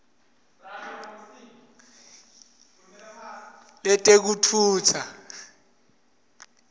letekutfutsa